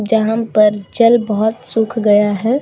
जहाँ पर जल बहोत सुख गया हैं।